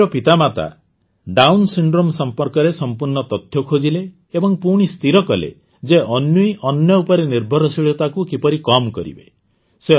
ଅନ୍ୱୀର ମାତାପିତା Down syndrome ସମ୍ପର୍କରେ ସମ୍ପୂର୍ଣ୍ଣ ତଥ୍ୟ ଖୋଜିଲେ ଏବଂ ପୁଣି ସ୍ଥିର କଲେ ଯେ ଅନ୍ୱୀର ଅନ୍ୟ ଉପରେ ନିର୍ଭରଶୀଳତାକୁ କିପରି କମ୍ କରିବେ